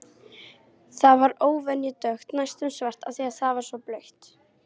Það var óvenju dökkt, næstum svart, af því að það var svo blautt.